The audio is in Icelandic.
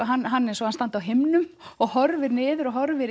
hann hann eins og hann standi á himnum og horfir niður og horfir